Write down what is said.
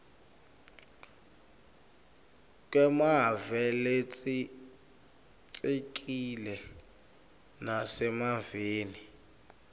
kwemave latsintsekile nasemaveni